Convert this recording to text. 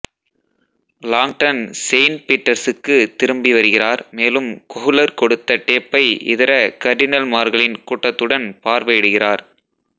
Langdon saint பீட்டர்சுக்கு திரும்பிவருகிறார் மேலும் கொஹ்லர் கொடுத்த டேப்பை இதர கர்டினல்மார்களின் கூட்டத்துடன் பார்வையிடுகிறார்